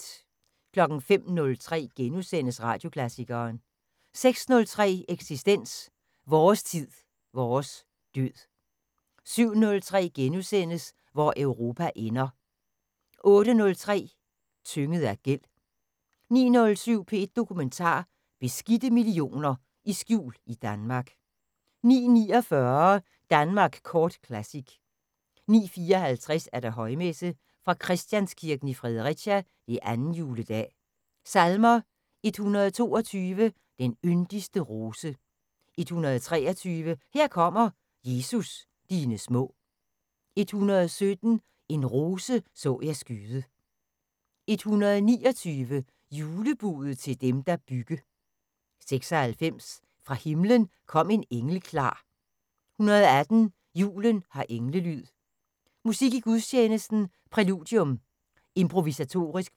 05:03: Radioklassikeren * 06:03: Eksistens: Vores tid, vores død 07:03: Hvor Europa ender * 08:03: Tynget af gæld 09:07: P1 Dokumentar: Beskidte millioner i skjul i Danmark 09:49: Danmark Kort Classic 09:54: Højmesse - fra Christianskirken i Fredericia. 2. Juledag. Salmer: 122: "Den yndigste rose". 123: "Her kommer, Jesus, dine små". 117: "En rose så jeg skyde". 129: "Julebudet til dem, der bygge". 96: "Fra himlen kom en engel klar". 118: "Julen har englelyd". Musik i gudstjenesten: Præludium: Improvisatorisk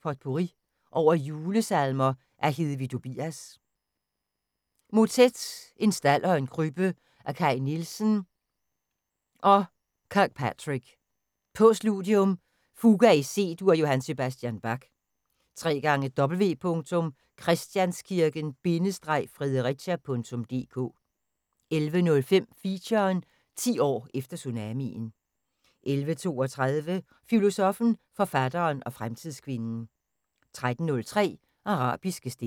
potpourri over julesalmer af Hedvig Dobias. Motet: "En stald og en krybbe" af Kaj Nielsen og W.J. Kirkpatrick. Postludium: " Fuga i C Dur" af J.S. Bach. www.christianskirken-fredericia.dk 11:05: Feature: 10 år efter tsunamien 11:32: Filosoffen, forfatteren og fremtidskvinden 13:03: Arabiske stemmer